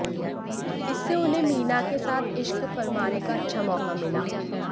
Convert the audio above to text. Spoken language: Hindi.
इसमें उन्हें मीना के साथ इश्क फरमाने का अच्छा मौका मिला